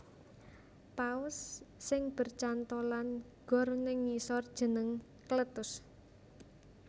Paus sing bercantholan gor neng ngisor jeneng Cletus